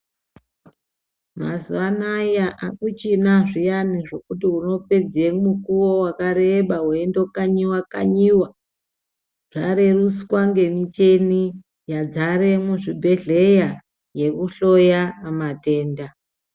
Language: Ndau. Mazuwa anaya akuchina zviyani zvekuti unopedze mukuwo wakareba weindokanyiwa kanyiwa zvarerutswa ngemicheni yadzare muzvibhehleya yekuhloye matenda.